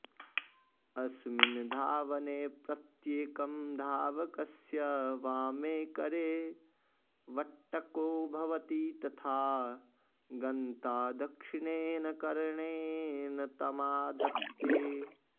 अस्मिन् धावने प्रत्येकं धावकस्य वामे करे वट्टको भवति तथा गन्ता दक्षिणेन करेण तमादत्ते